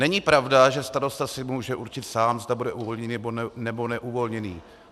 Není pravda, že starosta si může určit sám, zda bude uvolněný, nebo neuvolněný.